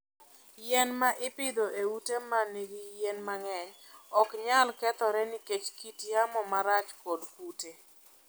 Yien ma ipidho e ute ma nigi yien mang'eny ok nyal kethore nikech kit yamo marach kod kute.